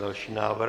Další návrh?